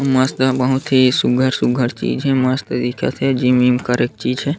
मस्त बहुत ही सुघ्घर-सुघ्घर चीज़ हे मस्त दिखत हे जिम विम करे के चीज़ हे।